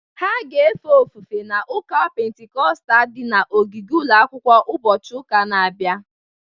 Ha ga-efe ofufe n’ụka Pentikọstal dị n’ogige ụlọ akwụkwọ ụbọchị ụka na-abịa